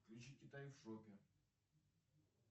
включи китай в шопе